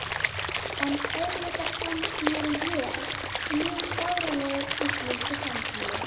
En auðvitað fannst mér ég mjög fáránlegur í slíku samtali.